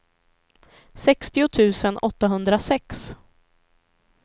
sextio tusen åttahundrasex